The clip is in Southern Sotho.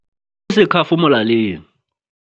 O sekhafo molaleng.